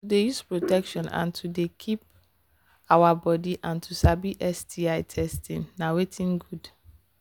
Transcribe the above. to they use protection and to they keep our body and to sabi sti testing na watin good